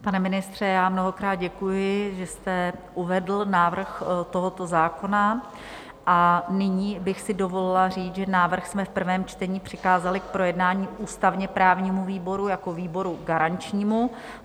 Pane ministře, já mnohokrát děkuji, že jste uvedl návrh tohoto zákona, a nyní bych si dovolila říct, že návrh jsme v prvém čtení přikázali k projednání ústavně-právnímu výboru jako výboru garančnímu.